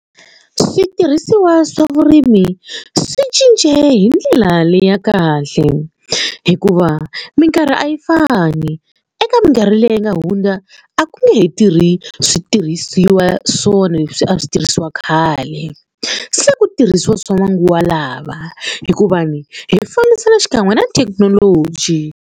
Switirhisiwa swa vurimi swi cince hi ndlela leyi ya kahle hikuva minkarhi a yi fani eka minkarhi leyi nga hundza a ku nge tirhi switirhisiwa swona leswi a swi tirhisiwa khale se ku tirhisiwa swa manguva lawa hikuva hi fambisana xikan'we na thekinoloji.